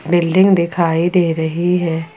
Building दिखाई दे रही है।